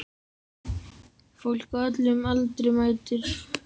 Fólk á öllum aldri mætir.